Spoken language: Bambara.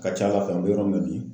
Ka ca Ala fɛ an bɛ yɔrɔ min na bi